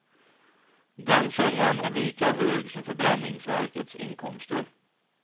Den summan är lika hög som förbränningsverkets inkomster.